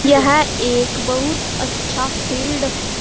यह एक बहुत अच्छा फील्ड है।